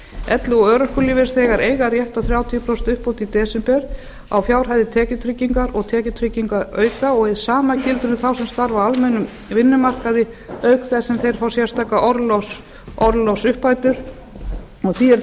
elli og örorkulífeyrisþegar eiga rétt á þrjátíu prósent uppbót í desember á fjárhæðum tekjutryggingar og tekjutryggingarauka og hið sama gildir um þá sem starfa á almennum vinnumarkaði auk þess sem þeir fá sérstakar orlofsuppbætur því er það